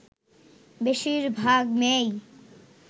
বেশির ভাগ মেয়েই